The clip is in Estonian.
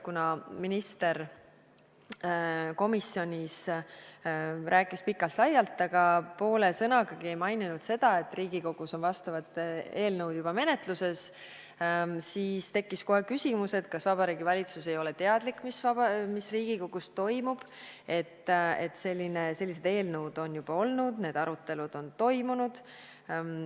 Kuna minister komisjonis rääkis pikalt-laialt, aga poole sõnagagi ei maininud seda, et Riigikogus on vastavad eelnõud juba menetluses, siis tekkis kohe küsimus, kas Vabariigi Valitsus ei ole teadlik, mis Riigikogus toimub, et sellised eelnõud on juba olemas, need arutelud on toimunud.